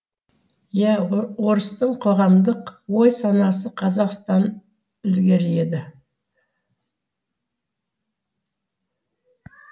иә орыстың қоғамдық ой санасы қазақтан ілгері еді